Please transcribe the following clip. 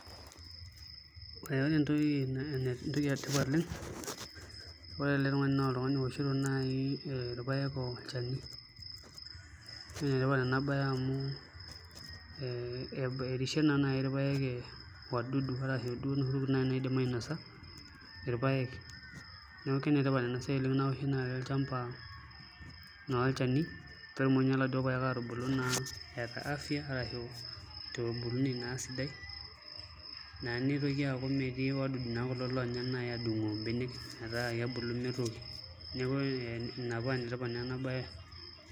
Ore entoki etipat ore ele tung'ani naa eoshito irpaek olchani naa enetipat ena baye amu erishie naa naai irpaek wadudu arashu duo inoshi tokitin naidim ainasa irpaek, neeku enetipat ena siai naoshi naai olchamba naa olchani pee etumoki iladuo paek atubulu naa eeta afya arashu torbulunei naa sidai naa nitoki aaku metii wadudu naa kulo naai onya aadung'u mbenek etaa ekebulu mitok ina paa enetipat naa ena baye.